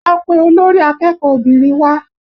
Lọ pe olórí akẹ́kọ̀ọ́ obìnrin wá!